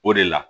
O de la